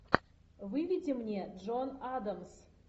выведи мне джон адамс